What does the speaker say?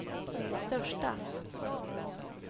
största